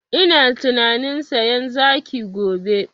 Ina tunanin sayan zaki gobe